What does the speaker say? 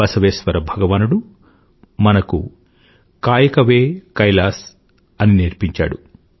బసవేశ్వర భగవానుడు మనకు కాయకవే కైలాస్ అని నేర్పించాడు